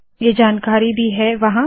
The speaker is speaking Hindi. ये जानकारी भी है यहाँ